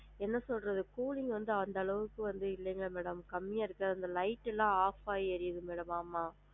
என்ன சொல்றது cooling வந்து அந்த அளவுக்கு வந்து இல்லைங்க madam கம்மியா இருக்கு அந்த light எல்லாம் off ஆகி எரியுது madam ஆமா